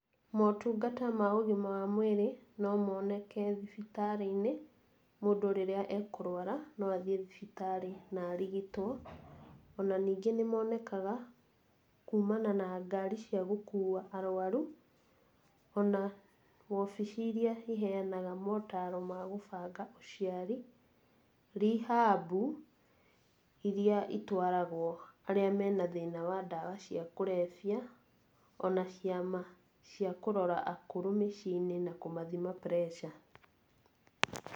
Motungata ma ũgima wa mwĩrĩ, no moneke thibitarĩ-inĩ, mũndũ rĩria ekũrwara, no athie thibitarĩ na arigitwo. O na ningĩ nĩmonekaga, kumana na ngari cia gũkua arwaru, o na wobici iria ciheanaga motaro ma gũbanga ũciari, ] rehab iria itwaragwo arĩa mena thĩna wa dawa cia kũrebia, o na ciama cia kũrora akũrũ mĩciĩ-inĩ na kũmathima pressure.